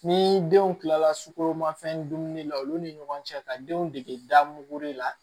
Ni denw kilala sukoro ma fɛn dumuni la olu ni ɲɔgɔn cɛ ka denw dege da mugu la